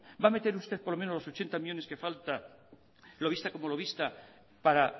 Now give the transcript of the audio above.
va a meter usted por lo menos los ochenta millónes que falta lo vista como lo vista para